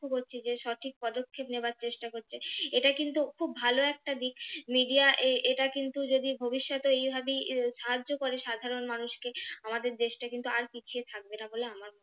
লক্ষ্য করছি যে সঠিক পদক্ষেপ নেবার চেষ্টা করছে এটা কিন্তু খুব ভালো একটা দিক Media এটা কিন্তু যদি ভবিষ্যতে এইভাবেই সাহায্য করে সাধারণ মানুষকে আমাদের দেশটা কিন্তু আর পিছিয়ে থাকবে না বলে আমার